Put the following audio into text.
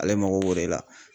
Ale mago b'o de la.